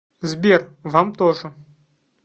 сбер вам тоже